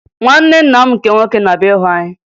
Nwanne nna m nke nwoke na-abịa ịhụ anya